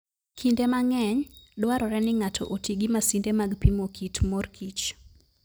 Kinde mang'eny, dwarore ni ng'ato oti gi masinde mag pimo kit mor kich.